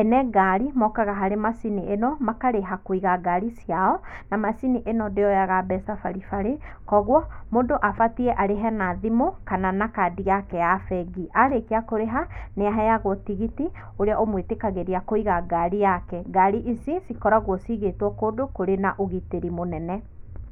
ene ngari mokaga harĩ macini ĩno makarĩha kũiga ngari ciao na macini ĩno ndĩyoga mbeca baribari kwoguo mũndũ abatie arĩhe na thimũ kana na kandi yake ya bengi.Arĩkia kũrĩha nĩaheagwo tigiti, ũrĩa ũmwĩtĩkagĩrĩa kũiga ngari yake, ngari ici cikoragwo ciĩgĩtwo kũndũ kũrĩ na ũgitĩri mũnene.